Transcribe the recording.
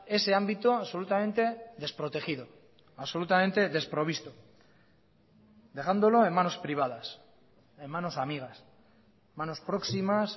ese ámbito absolutamente desprotegido absolutamente desprovisto dejándolo en manos privadas en manos amigas manos próximas